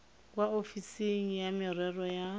kwa ofising ya merero ya